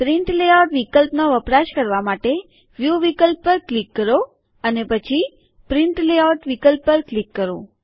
print layout વિકલ્પનો વપરાશ કરવા માટે વ્યુ વિકલ્પ પર ક્લિક કરો અને પછી પ્રિન્ટ લેઆઉટ વિકલ્પ પર ક્લિક કરો